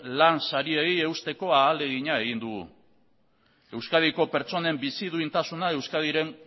lan sariei eusteko ahalegina egin dugu euskadiko pertsonen bizi duintasuna euskadiren